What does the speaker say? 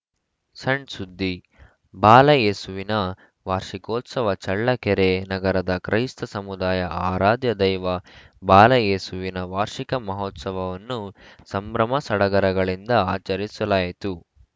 ಸಣ್‌ಸುದ್ದಿ ಬಾಲಯೇಸುವಿನ ವಾರ್ಷಿಕೋತ್ಸವ ಚಳ್ಳಕೆರೆ ನಗರದ ಕ್ರೈಸ್ತ ಸಮುದಾಯ ಆರಾಧ್ಯ ದೈವ ಬಾಲಯೇಸುವಿನ ವಾರ್ಷಿಕ ಮಹೋತ್ಸವವನ್ನು ಸಂಭ್ರಮ ಸಡಗರಗಳಿಂದ ಆಚರಿಸಲಾಯಿತು